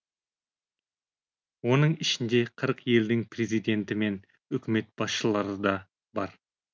оның ішінде қырық елдің президенті мен үкімет басшылары да бар